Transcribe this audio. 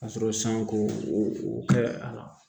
Ka sɔrɔ san ko o kɛ a la